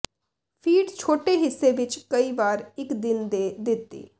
feed ਛੋਟੇ ਹਿੱਸੇ ਵਿੱਚ ਕਈ ਵਾਰ ਇੱਕ ਦਿਨ ਦੇ ਦਿੱਤੀ